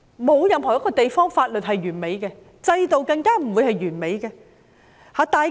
沒有任何一個地方的法律是完美的，任何一個制度都不會是完美的。